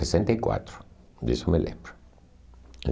sessenta e quatro. Disso eu me lembro.